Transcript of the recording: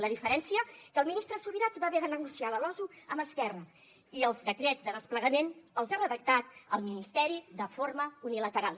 la diferència que el ministre subirats va haver de negociar la losu amb esquerra i els decrets de desplegament els ha redactat el ministeri de forma unilateral